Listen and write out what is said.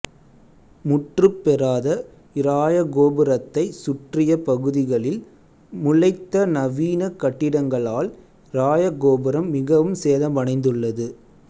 முற்றுப் பெறாத இராயகோபுரத்தைச் சுற்றிய பகுதிகளில் முளைத்த நவீன கட்டிடங்களால் இராயகோபுரம் மிகவும் சேதமடைந்துள்ளது